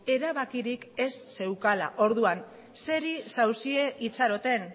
erabakirik ez zeukala orduan zeri zaudete itxaroten